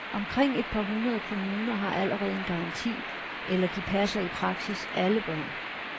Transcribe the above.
Omkring et par hundrede kommuner har allerede en garanti, eller de passer i praksis alle børn.